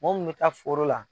Mɔ mun mɛ taa foro la.